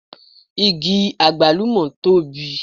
Igi àgbálùmọ̀ tóbi